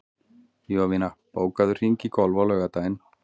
Jovina, bókaðu hring í golf á laugardaginn.